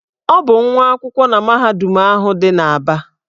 Ọ bụ nwa akwụkwọ na mahadum ahụ dị n'Aba.